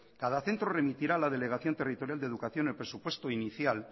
cada centro remitirá a la delegación territorial de educación el presupuesto inicial